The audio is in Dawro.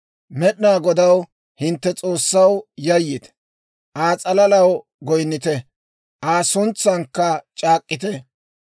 Med'inaa Godaw, hintte S'oossaw, yayyite; Aa s'alalaw goyinnite; Aa suntsankka c'aak'k'ite.